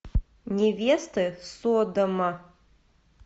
невеста содома